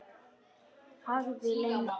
Þagði lengi.